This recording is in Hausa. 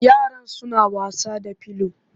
Yaran suna was da pillow